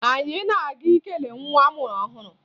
Anyị na-aga ikele nwa a mụrụ ọhụrụ